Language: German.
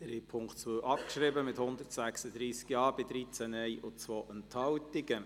Sie haben den Punkt 2 abgeschrieben, mit 136 Ja- bei 13 Nein-Stimmen und 2 Enthaltungen.